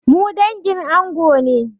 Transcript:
Mu dangin ango ne.